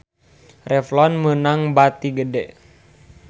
Revlon meunang bati gede